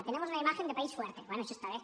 tenemos una imagen de país fuerte bé això està bé